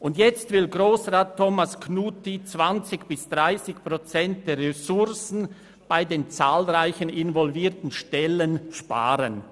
Und nun will Grossrat Knutti 20 bis 30 Prozent der Ressourcen bei den zahlreichen involvierten Stellen einsparen.